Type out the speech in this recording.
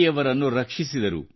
ಯವರನ್ನು ರಕ್ಷಿಸಿದರು